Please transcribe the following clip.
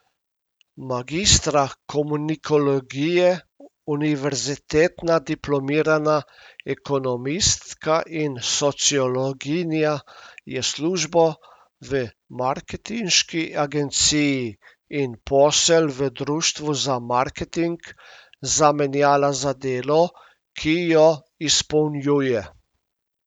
Magistra komunikologije, univerzitetna diplomirana ekonomistka in sociologinja je službo v marketinški agenciji in posel v društvu za marketing zamenjala za delo, ki jo izpolnjuje.